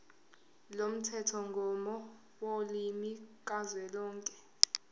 lomthethomgomo wolimi kazwelonke